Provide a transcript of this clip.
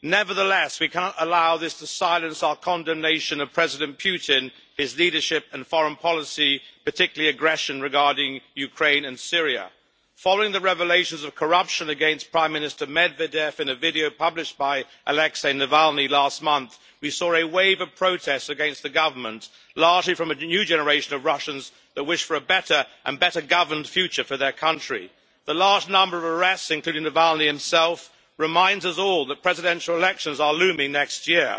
Nevertheless, we cannot allow this to silence our condemnation of President Putin, his leadership and foreign policy, particularly aggression regarding Ukraine and Syria. Following the revelations of corruption against Prime Minister Medvedev in a video published by Alexei Navalny last month, we saw a wave of protest against the government, largely from a new generation of Russians that wish for a better, and better governed, future for their country. The large number of arrests, including Navalny himself, reminds us all that presidential elections are looming next year.